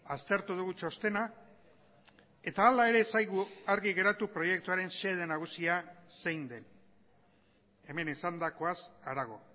aztertu dugu txostena eta hala ere ez zaigu argi geratu proiektuaren xede nagusia zein den hemen esandakoaz harago